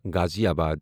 غازِی آباد